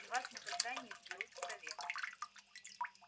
и вас никогда не изберут в совет